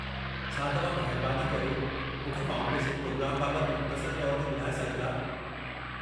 छा तव्हां महिरबानी करे मूंखे फाउंडेशन प्रोग्राम बाबति मुख़्तसर तौरु ते ॿुधाए सघन्दा?